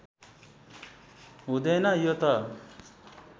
हुँदैन यो त